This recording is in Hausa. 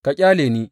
Ka ƙyale ni!